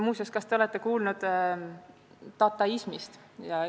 Muuseas, kas te olete kuulnud dataismist?